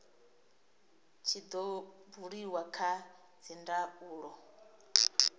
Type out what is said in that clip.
tshi do buliwa kha dzindaulo